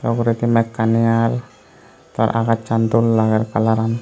ta poredi mekkani ar agassan dol lager kalaran.